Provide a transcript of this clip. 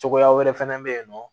Cogoya wɛrɛ fɛnɛ bɛ yen nɔ